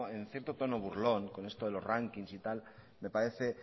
en cierto tono burlón con esto de los rankings y tal me parece